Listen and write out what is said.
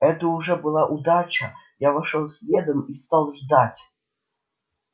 это уже была удача я вошёл следом и стал ждать